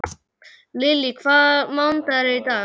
Lily, hvaða mánaðardagur er í dag?